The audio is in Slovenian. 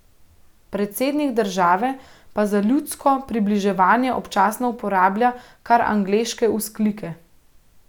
Predsednik države pa za ljudsko približevanje občasno uporablja kar angleške vzklike.